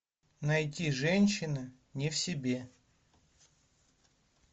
найти женщины не в себе